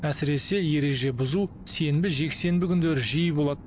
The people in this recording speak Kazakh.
әсіресе ереже бұзу сенбі жексенбі күндері жиі болады